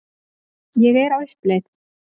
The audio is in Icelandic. Ég er á uppleið.